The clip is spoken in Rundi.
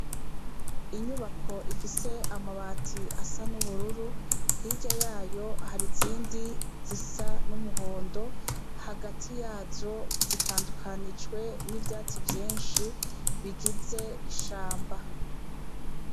Inyubako ifise amabati asa n'ubururu hirya yayo hari zindi zisa n'umuhondo hagati yazo zitandukanijwe n'ivyatsi vyinshi bigize ishamba.